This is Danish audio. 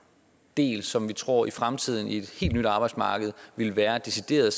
del som vi tror i fremtiden på et helt nyt arbejdsmarked vil være decideret